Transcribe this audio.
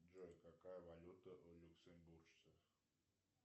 джой какая валюта у люксембуржцев